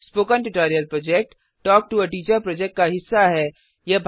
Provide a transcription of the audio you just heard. spoken tutorial project talk to a teacher project का हिस्सा है